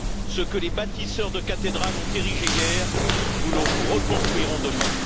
Ce que les bâtisseurs de cathédrales ont érigé hier, nous le reconstruirons demain.